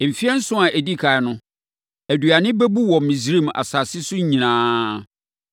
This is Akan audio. Mfeɛ nson a ɛdi ɛkan no, aduane bɛbu wɔ Misraim asase so nyinaa.